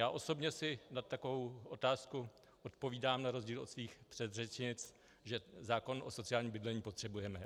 Já osobně si na takovou otázku odpovídám na rozdíl od svých předřečnic, že zákon o sociálním bydlení potřebujeme.